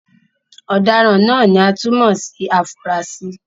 Ọ̀daràn náà ni a tún mọ̀ sí afurasí.